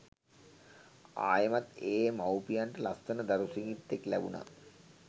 ආයෙමත් ඒ මව්පියන්ට ලස්සන දරු සිඟිත්තෙක් ලැබුනා.